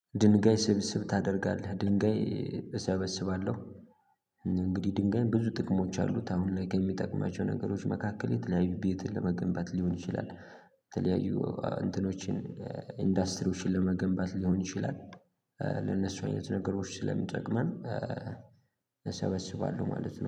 ድንጋይ ስብስብ ታደርጋለህ ድንጋይ እሰበስባለሁ። እንግዲህ ድንጋይ ብዙ ጥቅሞች አሉት አሁን ላይ ከሚጠቅማቸው ነገሮች መካከል የተለያዩ ቤት ለመገንባት ሊሆን ይችላል። ተለያዩ እንትኖችን ኢንዱስትሪዎችን ለመገንባት ሊሆን ይችላል። ለነሱ አይነት ነገሮች ስለምንጠቅመን። እሰበስባለሁ ማለት ነው